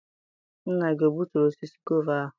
Nna gị o gbuturu osisi gova ahụ?